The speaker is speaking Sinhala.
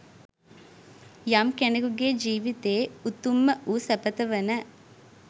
යම් කෙනෙකුගේ ජීවිතයේ උතුම්ම වූ සැපත වන